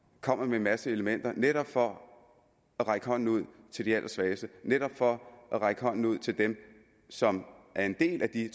kommer med en masse elementer netop for at række hånden ud til de allersvageste netop for at række hånden ud til dem som er en del af de